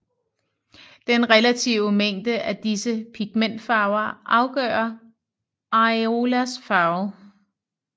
Den relative mængde af disse pigmentfarver afgør areolas farve